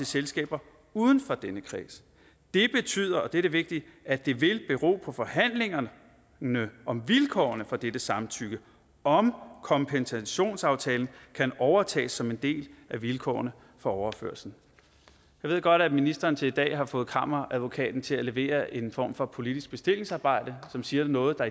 selskaber uden for denne kreds det betyder og det er det vigtige at det vil bero på forhandlingerne om vilkårene for dette samtykke om kompensationsaftalen kan overtages som en del af vilkårene for overførslen jeg ved godt at ministeren til i dag har fået kammeradvokaten til at levere en form for politisk bestillingsarbejde som siger noget der